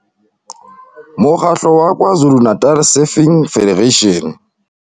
Mo kgatlo wa KwaZulu-Natal Surfing Federation.